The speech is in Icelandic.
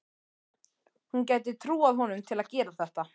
Hún gæti trúað honum til að gera þetta.